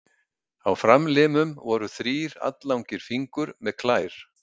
Á framlimum voru þrír alllangir fingur með klær.